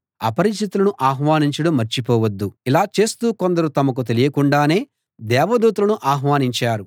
అపరిచితులను ఆహ్వానించడం మర్చిపోవద్దు ఇలా చేస్తూ కొందరు తమకు తెలియకుండానే దేవదూతలను ఆహ్వానించారు